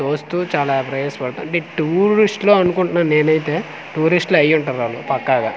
చుస్తూ చాలా పడుతు అంటె టూరిస్ట్ లు అనుకుంటున్నాను నేను అయితే టూరిస్ట్ లు అయ్యి ఉంటారు వాళ్ళు పక్కగా.